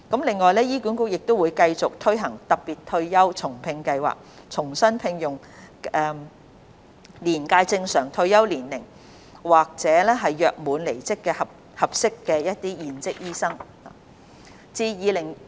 另外，醫管局亦會繼續推行"特別退休後重聘計劃"，重新聘用年屆正常退休年齡退休或約滿離職的合適現職醫生。